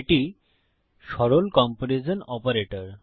এটি সরল comparison operator